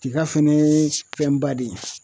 Tiga fɛnɛ ye fɛnba de ye.